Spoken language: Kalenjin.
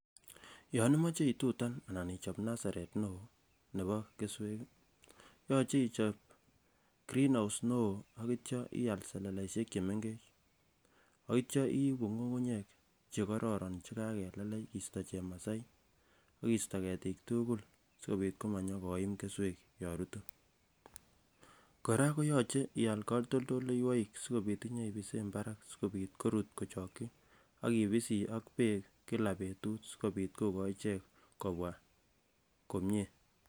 yon imoche itutan anan ichop nasaret neoo nebo kesweek ih yoche ichob grreenhouse neoo akitya ial seleleisyek chemengech akitya iibu ngungunyek chekororon chekakelelech kisto chemasai akisto ketiik tugul sikobit komanyokoim keswek yon rutu. Kora koyoche ial katoldoiyowoek sikobit inyebisen barak sikobit korut kochokyi akibisii ak beek kila betut sikobit kokoi ichek kobwa komie